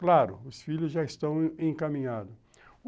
Claro, os filhos já estão encaminhados.